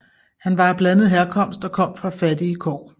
Han var af blandet herkomst og kom fra fattige kår